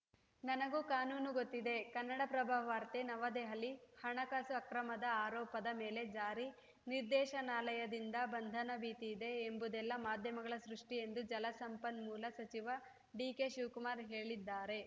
ನನಗೂ ಕಾನೂನು ಗೊತ್ತಿದೆ ಕನ್ನಡಪ್ರಭ ವಾರ್ತೆ ನವದೆಹಲಿ ಹಣಕಾಸು ಅಕ್ರಮದ ಆರೋಪದ ಮೇಲೆ ಜಾರಿ ನಿರ್ದೇಶನಾಲಯದಿಂದ ಬಂಧನ ಭೀತಿ ಇದೆ ಎಂಬುದೆಲ್ಲ ಮಾಧ್ಯಮಗಳ ಸೃಷ್ಟಿಎಂದು ಜಲಸಂಪನ್ಮೂಲ ಸಚಿವ ಡಿಕೆಶಿವಕುಮಾರ್‌ ಹೇಳಿದ್ದಾರೆ